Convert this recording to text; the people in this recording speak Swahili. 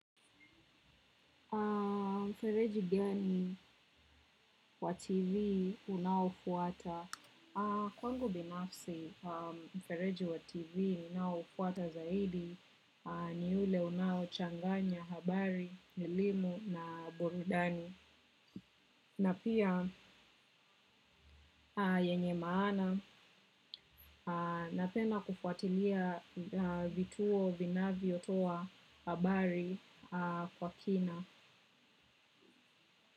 Mfereji gani wa TV unaofuata? Kwangu binafsi mfereji wa TV ninaofuata zaidi ni ule unaochanganya habari, elimu na borudani. Napia yenye maana napenda kufuatilia vituo vinavyo toa habari kwa kina.